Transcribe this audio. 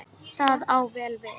Það á vel við.